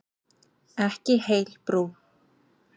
Ekki heil brú.